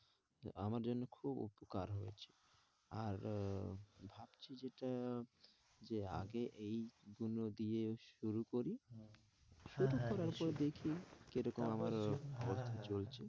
আমার জন্যে খুব উপকার হয়েছে আর আহ ভাবছি যেটা আহ যে আগে এইগুলো দিয়ে শুরু করি আচ্ছা শুরু করার হ্যাঁ হ্যাঁ নিশ্চই পর দেখি কি রকম হ্যাঁ হ্যাঁ আমার অব অবস্থা চলেছে,